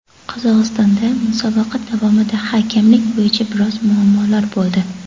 Qozog‘istondagi musobaqa davomida hakamlik bo‘yicha biroz muammolar bo‘ldi.